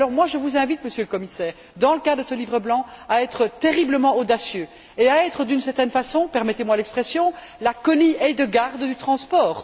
Je vous invite, Monsieur le Commissaire, dans le cadre de ce livre blanc, à être terriblement audacieux et à être, d'une certaine façon permettez moi l'expression la Connie Hedegaard du transport.